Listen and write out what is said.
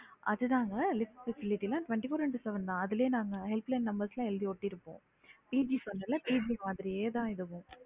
அதுதாங்க lift facility ல twenty-four and lift seven அதுலயே நாங்க helpline number எல்லாம் எழுதி ஒட்டிருப்போம் PG மாதிரியே தான் இதுவும்